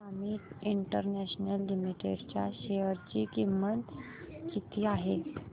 Amit international limited च्या share ची किंमत किती आहे